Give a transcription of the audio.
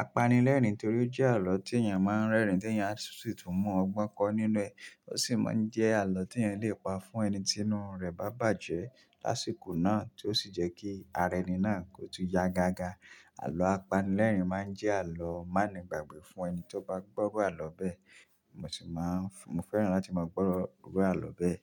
apanilẹ́rìn nítorí ó jẹ́ àlọ́ tí èèyàn máa ń rẹ́rìn tí èèyàn á tún tún mú ọgbọ́n kọ́ nínú ẹ̀. Ó sì máa ń jẹ́ àlọ́ tí èèyàn lè pa fún ẹni tí inú rẹ̀ bá bàjẹ́ lásìkò náà, tí ó sì jẹ́ kí ara ẹni náà kó tó ya gágá. Àlọ́ apanilẹ́rìn máa ń jẹ́ àlọ́ má ni gbàgbé fún ẹni tí ó bá gbọ́rọ̀ àlọ́ bẹ́ẹ̀. Mo sì máa ń fẹ́ràn láti máa gbọ́rọ̀ àlọ́ bẹ́ẹ̀